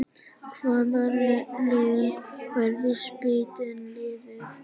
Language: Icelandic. Hvaða lið verður spútnik liðið?